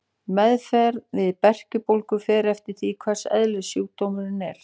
Meðferð við berkjubólgu fer eftir því hvers eðlis sjúkdómurinn er.